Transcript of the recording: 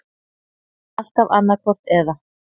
Alltaf annaðhvort eða.